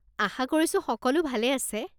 আশা কৰিছো সকলো ভালে আছে।